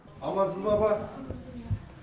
амансыз ба апа